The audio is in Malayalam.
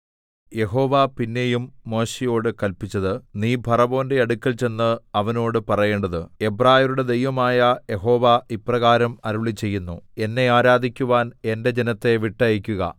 യഹോവ പിന്നെയും മോശെയോട് കല്പിച്ചത് നീ ഫറവോന്റെ അടുക്കൽ ചെന്ന് അവനോട് പറയേണ്ടത് എബ്രായരുടെ ദൈവമായ യഹോവ ഇപ്രകാരം അരുളിച്ചെയ്യുന്നു എന്നെ ആരാധിക്കുവാൻ എന്റെ ജനത്തെ വിട്ടയയ്ക്കുക